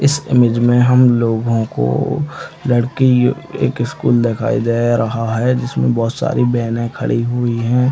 इस इमेज में हम लोगो को लड़की एक स्कूल दिखाई दे रहा है जिसमे बहुत सारी बहने खड़ी हुई है।